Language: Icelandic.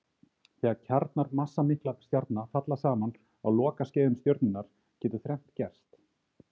Þegar kjarnar massamikilla stjarna falla saman á lokaskeiðum stjörnunnar getur þrennt gerst.